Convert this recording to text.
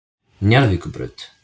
Njarðvíkurbraut